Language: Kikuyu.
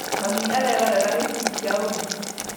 Mami arerorera gĩbindi kĩa ũrugi